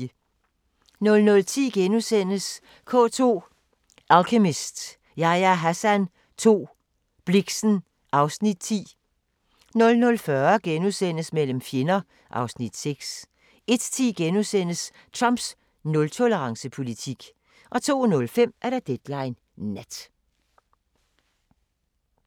00:10: K2 – Alchemist, Yahya Hassan 2, Blixen (Afs. 10)* 00:40: Mellem fjender (Afs. 6)* 01:10: Trumps nultolerance-politik * 02:05: Deadline Nat